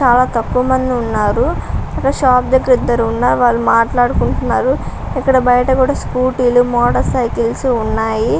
చాలా తక్కువ మనదే ఉన్నారు షాప్ దగ్గర ఇద్దరు ఉన్నారు చాలా తక్కువ మంది ఉన్నారు షాప్ దగ్గర ఇద్దరు ఉన్నారు వాళ్లు మాట్లాడుకుంటున్నారు. ఇక్కడ బయట కూడా స్కూటీలు మూత సైకిల్లు ఉన్నాయి ఇక్కడ బయట కూడా స్కూటీలు మోటర్ సైకిలు ఉన్నాయి.